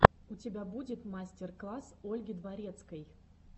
у тебя будет мастер класс ольги дворецкой